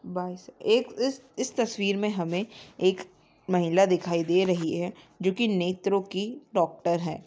बस एक इस तस्वीर में हमें एक महिला दिखाई दे रही है जो की नेत्रों की डॉक्टर है।